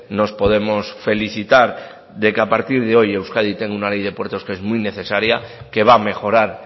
nos podemos felicitar que a partir de hoy euskadi tenga una ley de puertos que es muy necesaria que va a mejorar